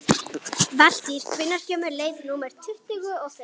Valtýr, hvenær kemur leið númer tuttugu og fimm?